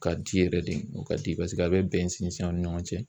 ka di yɛrɛ di u ka di paseke a bɛ bɛn sinsin an ni ɲɔgɔn cɛ.